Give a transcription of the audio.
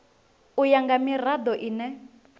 u ya nga mirado ine